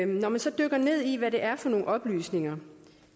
når man så dykker ned i hvad det er for nogle oplysninger